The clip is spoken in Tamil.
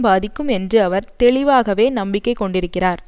பாதிக்கும் என்று அவர் தெளிவாகவே நம்பிக்கை கொண்டிருக்கிறார்